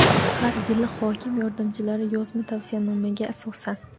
har yili hokim yordamchilari yozma tavsiyanomasiga asosan:.